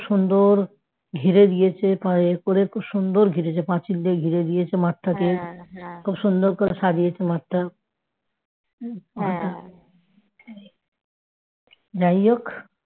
ঘিরে দিয়েছে এই করছে সুন্দর ঘিরেছে পাঁচিল দিয়ে ঘিরে দিয়েছে মাঠটাকে খুব সুন্দর করে সাজিয়েছে মাঠটা যাইহোক